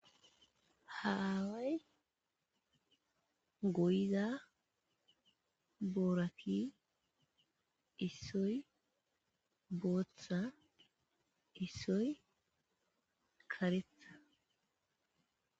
Ha aaway goyiza boorati issoy booththa issoy karetha.